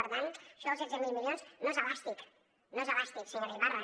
per tant això dels setze mil milions no és elàstic no és elàstic senyora ibarra